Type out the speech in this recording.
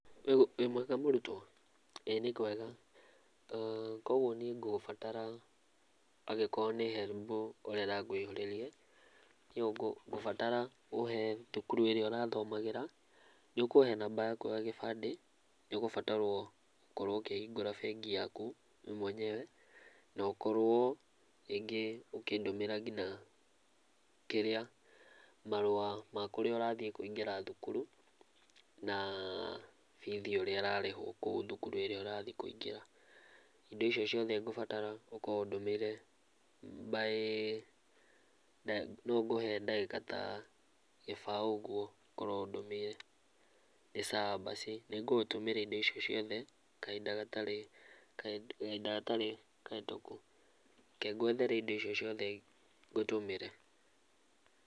Wĩ mwega mũrutwo. Ĩĩ nĩkwega. Kuguo niĩ ngũgũbatara angĩkorwo nĩ HELB ũrenda ngũihũrĩrie, nĩyo ngũbatara ũhe thukuru ĩrĩa ũrathomagĩra, nĩũkũhe namba yaku ya gĩbandĩ. Nĩũgũbatarwo gũkorwo ũkĩhingũra bengi yaku we mwenyewe na ũkorwo rĩngĩ ũkĩndũmĩre kinya, kĩrĩa, marũa ma kũrĩa ũrathiĩ kũingĩra thukuru, naa bithi ũrĩa ĩrarĩhwo kũu thukuru ĩrĩa ũrathiĩ kũingĩra. Indo icio ciothe ngũbatara ũkorwo ũndũmĩire by no ngũhe ndagĩka ta, gĩbaũ ũguo, ũkorwo ũndũmĩire. Nĩ sawa basi, nĩngũgũtũmĩra indo icio ciothe kahinda gatarĩ, kahinda gatarĩ kahĩtũku. Reke ngwethere indo icio ciothe ngũtũmĩre.